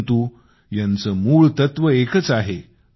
परंतु यांचे मूळ तत्व एकच आहे